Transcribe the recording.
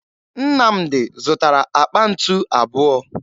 Nnamdi zụtara àkpà ntu abụọ